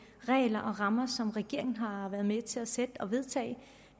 regler og rammer som regeringen har været med til at sætte og vedtage